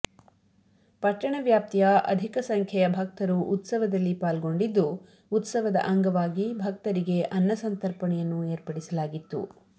ಪಟ್ಟಣ ವ್ಯಾಪ್ತಿಯ ಅಧಿಕ ಸಂಖ್ಯೆಯ ಭಕ್ತರು ಉತ್ಸವದಲ್ಲಿ ಪಾಲ್ಗೊಂಡಿದ್ದು ಉತ್ಸವದ ಅಂಗವಾಗಿ ಭಕ್ತರಿಗೆ ಅನ್ನಸಂತರ್ಪಣೆಯನ್ನು ಏರ್ಪಡಿಸಲಾಗಿತ್ತು